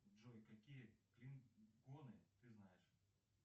джой какие клинконы ты знаешь